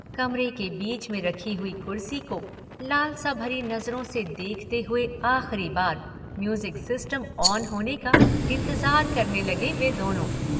कमरे के बीच में रखी हुई कुर्सी को लालसा भरी नजरों से देखते हुए आखिरी बार म्यूज़िक सिस्टम ऑन होने का इंतज़ार करने लगे वे दोनों।